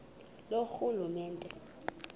loorhulumente